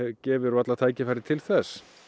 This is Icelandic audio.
gefur varla tækifæri til þess